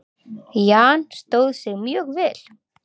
Jan stóð sig mjög vel.